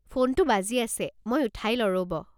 ফোনটো বাজি আছে, মই উঠাই লও ৰ'ব।